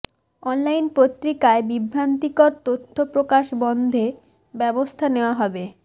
online পত্রিকায় বিভ্রান্তিকর তথ্য প্রকাশ বন্ধে ব্যবস্থা নেয়া হবে